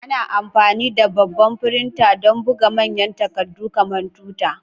Ana amfani da babban firinta don buga manyan takardu kamar tuta.